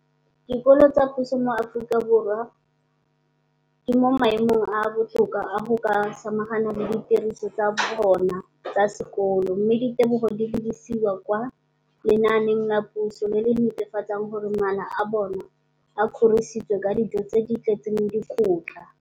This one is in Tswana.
dikolo tsa puso mo Aforika Borwa ba mo maemong a a botoka a go ka samagana le ditiro tsa bona tsa sekolo, mme ditebogo di lebisiwa kwa lenaaneng la puso le le netefatsang gore mala a bona a kgorisitswe ka dijo tse di tletseng dikotla.